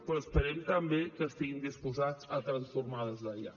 però esperem també que estiguin disposats a transformar des d’allà